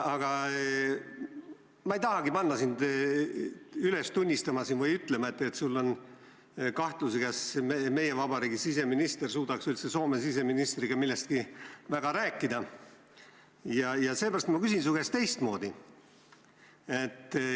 Aga ma ei tahagi panna sind üles tunnistama või ütlema, et sul on kahtlusi, kas meie vabariigi siseminister üldse suudaks Soome siseministriga millestki väga rääkida, ja seepärast ma küsin su käest teistmoodi.